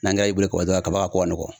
N'an ka y'i bolo ka ban kaba ka ko ka nɔgɔn.